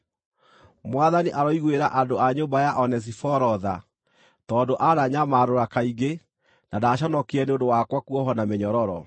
Mwathani aroiguĩra andũ a nyũmba ya Onesiforo tha tondũ aananyamarũra kaingĩ na ndaconokire nĩ ũndũ wakwa kuohwo na mĩnyororo.